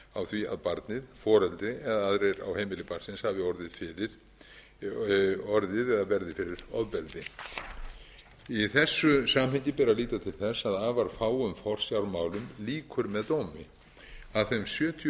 því að barnið foreldri eða aðrir á heimili barnsins hafi orðið eða verði fyrir ofbeldi í þessu samhengi ber að líta til þess að afar fáum forsjármálum lýkur með dómi af þeim sjötíu